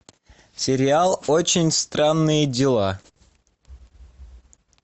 сериал очень странные дела